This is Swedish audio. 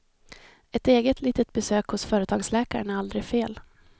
Ett eget litet besök hos företagsläkaren är aldrig fel.